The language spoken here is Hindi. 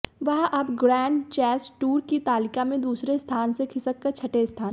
वह अब ग्रैंड चैस टूर की तालिका में दूसरे स्थान से खिसककर छठे स्थान